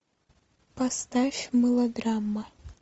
поставь мылодрама